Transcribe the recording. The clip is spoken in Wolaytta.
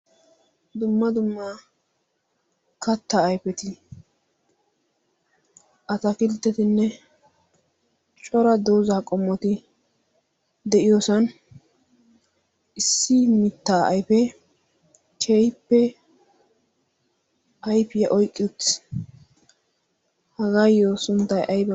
dumma dumma katta aifeti atafilttetinne cora doozaa qommoti de'iyoosan issi mittaa ayfe kehippe ayfiyaa oyqqi utis. hagaayyo sunttay aybee?